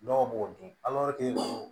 Dɔw b'o dun